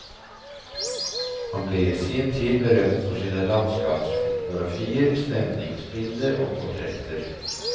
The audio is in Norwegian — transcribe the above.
Han ble i sin tid berømt for sine landskapsfotografier, stemningsbilder og portretter.